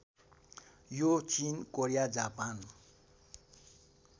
यो चिन Korea Japan